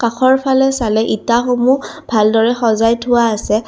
কাষৰফালে চালে ইটাসমূহ ভালদৰে সজাই থোৱা আছে।